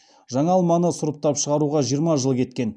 жаңа алманы сұрыптап шығаруға жиырма жыл кеткен